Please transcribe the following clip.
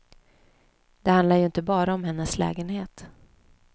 Det handlar ju inte bara om hennes lägenhet.